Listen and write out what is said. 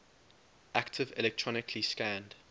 active electronically scanned